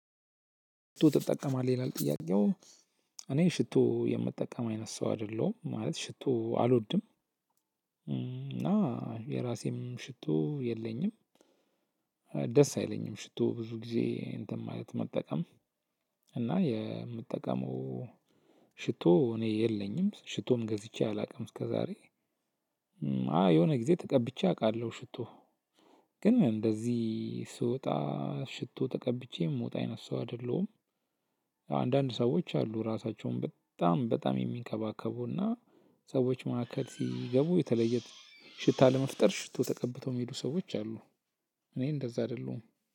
ሽቶ ትጠቀማለህ ይላል ጥያቄው? እኔ ሽቶ የምጠቀም አይነት ሰው አይደለሁም ማለት ሽቶ አልወድም። እና የራሴም ሽቶ የለኝም። ደስ አይለኝም ሽቶ ብዙ ጊዜ እንትን ማለት መጠቀም። እና የምጠቀመው ሽቶ እኔ የለኝም ሽቶም ገዝቼ አላውቅም እስከዛሬ። አ የሆነ ጊዜ ተቀብቼ አውቃለሁ ሽቶ። ግን እንደዚህ ስወጣ ሽቶ ተቀብቼ የምወጣ አይነት ሰው አይደለሁም። አንዳንድ ሰዎች አሉ ራሳቸውን በጣም በጣም ሚንከባከቡ እና ሰዎች ማከል ሲገቡ የተለየ ሽታ ለመፍጠር ሽቶ ተቀብተው የሚሄዱ ሰዎች አሉ። እኔ እንደዛ አይደለሁም።